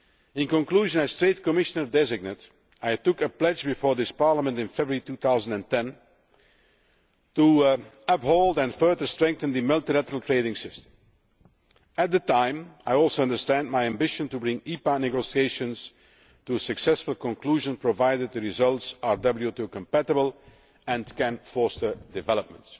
In conclusion, as Trade Commissioner designate, I took a pledge before this Parliament in February 2010 to uphold and further strengthen the multilateral trading system. At the time I also understand my ambition is to bring EPA negotiations to a successful conclusion provided the results are WTO compatible and can foster development.